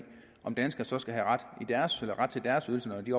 om danskerne skal have ret til deres ydelser når de